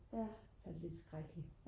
det er lidt skrækkeligt